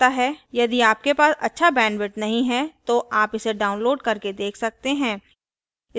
यदि आपके पास अच्छा bandwidth नहीं है तो आप इसे download करके देख सकते हैं